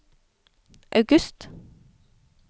august